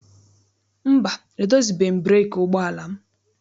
Mba, edozibeghị m breekị ụgbọala m.